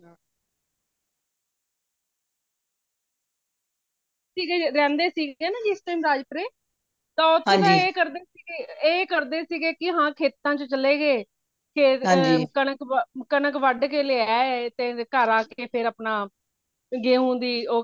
ਅਸੀਂ ਜੇ ਰਹਿੰਦੇ ਸੀ ਜੇਗਾ ਨਾ ਜਿਸ time ਰਾਜਪੂਰੇ ਤਾ ਓਥੇ ਮੈਂ ਕਰਦੇ ਸੀਗੇ ਏ ਕਰਦੇ ਸੀਗੇ ਕਿ ਹਾਂ ਖੇਤਾਂ ਚ ਚਲੇ ਗਏ ਫੇਰ ਕਣਕ ,ਕਣਕ ਵਡ ਕੇ ਲੈ ਆਏ ਤੇ ਘਰ ਆ ਕੇ ਤੇ ਫੇਰ ਅਪਣਾ ਗੇਹੁ ਦੀ ਉਹ